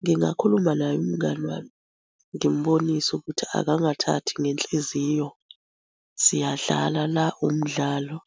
Ngingakhuluma naye umngani wami, ngimubonise ukuthi akangathathi ngenhliziyo siyadlala la umdlalo